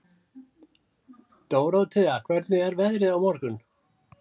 Dórótea, hvernig er veðrið á morgun?